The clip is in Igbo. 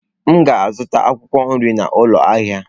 M ga-azụta akwụkwọ nri n'ụlọ ahịa.